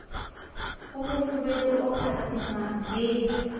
o mofubedu o phatsimang le